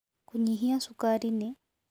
Kũnyĩhĩa shũkarĩ nĩ